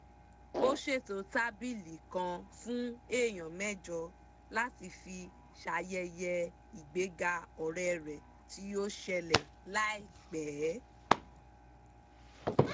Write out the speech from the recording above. ó ṣètò tábìlì kan fún èèyàn mẹ́jọ láti fi ṣayẹyẹ ìgbéga ọ̀rẹ́ rẹ̀ tí ó ṣẹlẹ̀ láìpẹ́